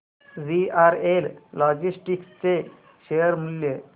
VRL logistics चे share मूल्य